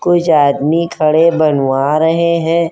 कुछ आदमी खड़े बनवा रहे हैं।